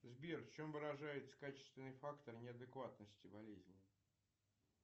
сбер в чем выражается качественный фактор неадекватности болезни